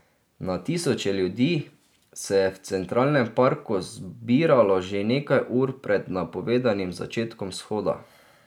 Na tisoče ljudi se je v Centralnem parku zbiralo že nekaj ur pred napovedanim začetkom shoda.